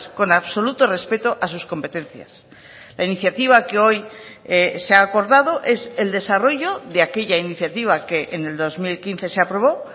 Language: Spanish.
con absoluto respeto a sus competencias la iniciativa que hoy se ha acordado es el desarrollo de aquella iniciativa que en el dos mil quince se aprobó